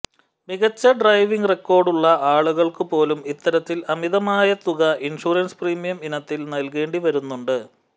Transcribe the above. മികച്ച ഡ്രൈവിങ് റെക്കോർഡുള്ള ആളുകൾക്കു പോലും ഇത്തരത്തിൽ അമിതമായ തുക ഇൻഷ്വറൻസ് പ്രീമിയം ഇനത്തിൽ നൽകേണ്ടി വരുന്നുണ്ട്